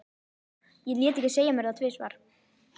Ég lét ekki segja mér það tvisvar.